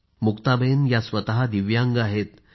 मुक्ताबेन स्वतः दिव्यांग आहेत